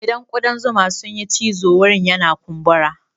Idan kuɗan zuma sun yi cizo wurin yana kumburi.